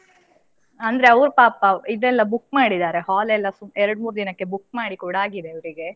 ಅಂದ್ರೆ ಅವ್ರು ಪಾಪ ಇದೆಲ್ಲ book ಮಾಡಿದಾರೆ hall ಎಲ್ಲಾ ಎರಡು ಮೂರು ದಿನಕ್ಕೆ book ಮಾಡಿ ಕೂಡ ಆಗಿದೆ ಅವ್ರಿಗೆ.